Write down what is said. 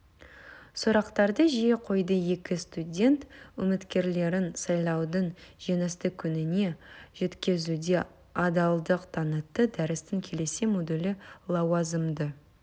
сұрақтарды жиі қойды екі студент үміткерлерін сайлаудың жеңісті күніне жеткізуде адалдық танытты дәрістің келесі модулы лауазымды